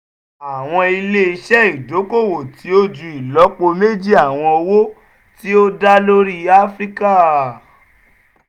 àwọn ilé-iṣẹ́ ìdókòwò tí ó ju ìlọ́po méjì àwọn owó tí ó dá lórí áfíríkà